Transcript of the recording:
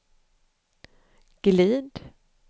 glid